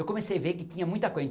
Eu comecei a ver que tinha muita